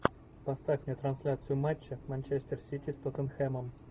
поставь мне трансляцию матча манчестер сити с тоттенхэмом